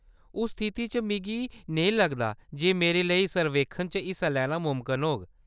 उस स्थिति च, मिगी नेईं लगदा जे मेरे लेई सर्वेक्खन च हिस्सा लैना मुमकन होग।